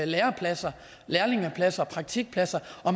lærepladser lærlingepladser og praktikpladser